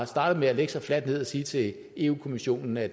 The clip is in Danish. startet med at lægge sig fladt ned og sige til eu kommissionen at